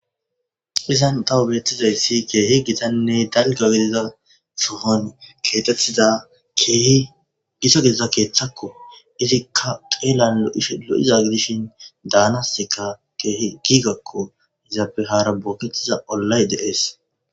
Izan tawu bettizayssi keehi gitanne dalga gidiza sohon keexettiza keehi gita gizida keeththakko. Izikka xeelan lo7iza gidishin daanasika keehi giigakko. zaapehara booketiza ollay deees.